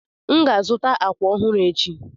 M ga-azụta àkwà ọhụrụ echi.